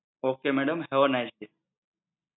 okay madam have a nice day!